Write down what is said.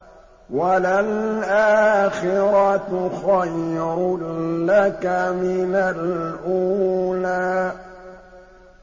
وَلَلْآخِرَةُ خَيْرٌ لَّكَ مِنَ الْأُولَىٰ